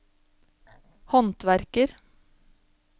håndverker